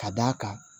Ka d'a kan